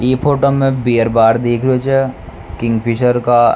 ई फोटो में beer bar दिख रो छ किंगफ़िशर का।